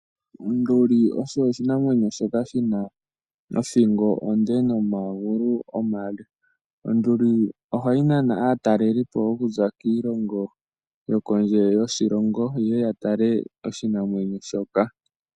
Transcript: Onduli osho oshinamwenyo shoka shi na othingo onde nomagulu omale, Onduli oha yi nana aatalelipo okuza kiilongo yokondje yoshilongo yeye yatale oshinamwenyo shoka.